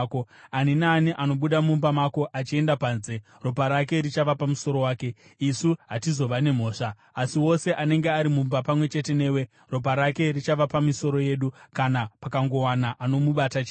Ani naani anobuda mumba mako achienda panze, ropa rake richava pamusoro wake, isu hatizova nemhosva. Asi wose anenge ari mumba pamwe chete newe, ropa rake richava pamisoro yedu kana pakangowana anomubata chete.